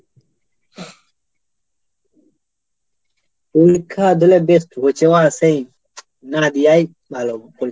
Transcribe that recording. পরীক্ষা দিলে best হচ্ছে বাঁড়া সেই না দিয়াই ভালো পরীক্ষাটা।